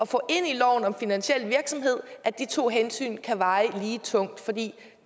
loven om finansiel virksomhed at de to hensyn kan veje lige tungt for det